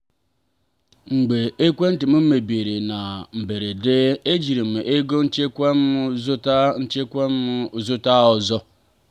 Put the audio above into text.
mgbe ekwentị m mebiri na mberede ejiri m ego nchekwa m zụta nchekwa m zụta ọzọ.